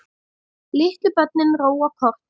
Litlu börnin róa kort.